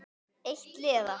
Eitt liða.